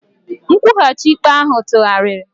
Nkwụghachi ikpe ahụ tụgharịrị.